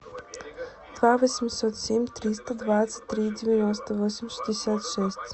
два восемьсот семь триста двадцать три девяносто восемь шестьдесят шесть